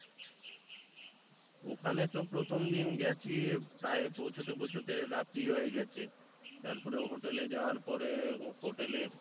ওখানে তো প্রথম দিন গেছি প্রায় পৌঁছতে পৌঁছতে রাত্রি হয়ে গেছে তারপরে hotel এ যাওয়ার পরে hotel এ